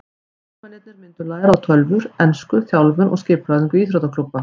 Leikmennirnir myndu læra á tölvur, ensku, þjálfun og skipulagningu íþróttaklúbba.